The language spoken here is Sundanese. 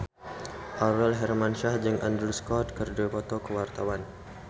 Aurel Hermansyah jeung Andrew Scott keur dipoto ku wartawan